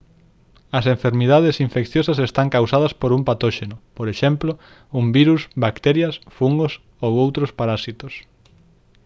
as enfermidades infecciosas están causadas por un patóxeno por exemplo un virus bacterias fungos ou outros parasitos